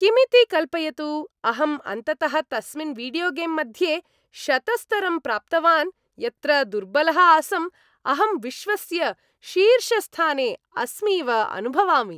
किमिति कल्पयतु, अहं अन्ततः तस्मिन् वीडियोगेम् मध्ये शतस्तरं प्राप्तवान्, यत्र दुर्बलः आसम्, अहं विश्वस्य शीर्षस्थाने अस्मीव अनुभवामि।